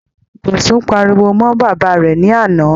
Bosun pariwo mọ́ bàbá rẹ̀ ní àná.